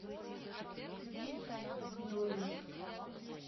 долинск